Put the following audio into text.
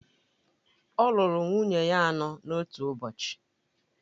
Ọ lụrụ nwunye ya anọ n’otu ụbọchị